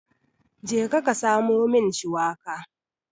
Jeka ka samo min shiwaka.